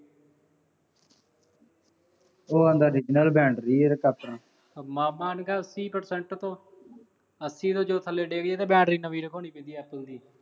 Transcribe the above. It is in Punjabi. ਉਹ ਆਂਦਾ original battery ਏ ਹਰੇਕ ਆਪਣੀ। ਉਹ ਮਾਮਾ ਉਹਨੂੰ ਕਹਿ ਤੀਹ percent ਤੋਂ ਅੱਸੀ ਤੋਂ ਜਦੋਂ ਥੱਲੇ ਡਿੱਗੇ ਜੇ, ਤਾਂ battery ਨਵੀਂ ਰਖਾਉਣੀ ਪੈਂਦੀ ਆ Apple ਦੀ।